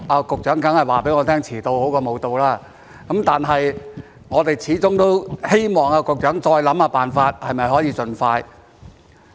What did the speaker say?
局長當然會告訴我遲到總比不到好，但是我們始終希望局長再想想辦法，是否可以盡快完成。